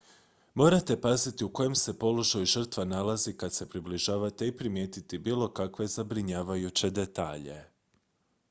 morate paziti u kojem se položaju žrtva nalazi kad se približavate i primijetiti bilo kakve zabrinjavajuće detalje